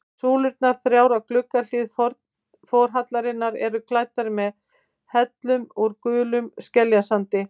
Súlurnar þrjár á gluggahlið forhallarinnar eru klæddar með hellum úr gulum skeljasandi.